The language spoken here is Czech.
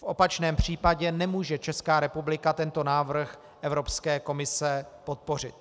V opačném případě nemůže Česká republika tento návrh Evropské komise podpořit.